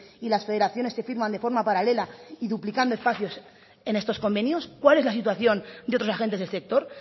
y las federaciones que firman de forma paralela y duplicando espacios en estos convenios cuál es la situación de otros agentes del sector